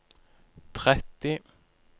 tretti